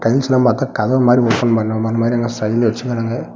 யூஷுவல்லா பாத்தா கதவு மாதிரி ஓபன் பண்ற ம மாரி அங்க சைடுல வெச்சிக்கிறாங்க.